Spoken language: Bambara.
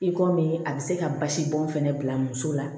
I komi a bɛ se ka basibɔn fɛnɛ bila muso la